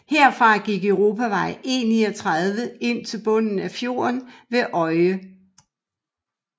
Herfra gik Europavej E39 ind til bunden af fjorden ved Øye